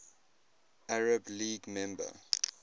arab league member